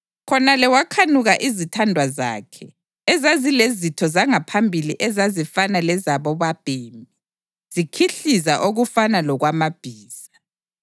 Khonale wakhanuka izithandwa zakhe, ezazilezitho zangaphambili ezazifana lezabobabhemi, zikhihliza okufana lokwamabhiza.